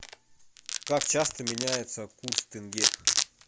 как часто меняется курс тенге